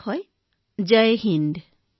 ধন্যবাদ মহোদয় জয় হিন্দ মহোদয়